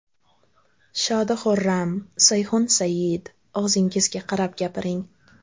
Shodi Xurram: Sayxun Sayyid, og‘zingizga qarab gapiring.